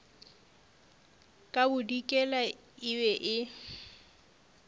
ka bodikela e be e